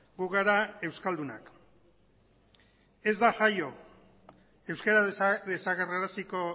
gu gara euskaldunak ez da jaio euskara desagerraraziko